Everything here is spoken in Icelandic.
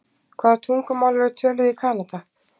Hvaða tungumál eru töluð í Kanada?